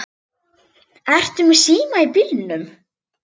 Ertu með síma í bílnum?